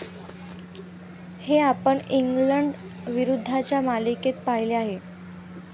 हे आपण इंग्लंड विरुद्धच्या मालिकेत पाहिले आहे.